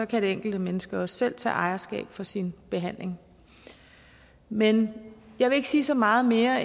kan det enkelte menneske også selv tage ejerskab for sin behandling men jeg vil ikke sige så meget mere